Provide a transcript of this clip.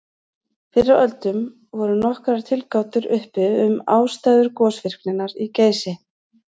Fyrr á öldum voru nokkrar tilgátur uppi um ástæður gosvirkninnar í Geysi.